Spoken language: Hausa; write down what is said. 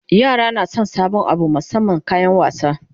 yara na San sabon Abu musamman kayan wasa